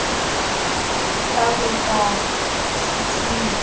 ka ho ya ka tshitshinyo